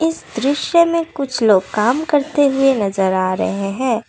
इस दृश्य में कुछ लोग काम करते हुए नजर आ रहे हैं।